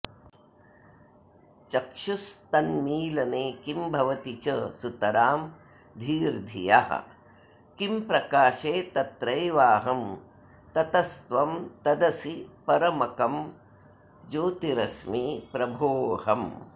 चक्षुस्तन्मीलने किं भवति च सुतरां धीर्धियः किं प्रकाशे तत्रैवाहं ततस्त्वं तदसि परमकं ज्योतिरस्मि प्रभोऽहम्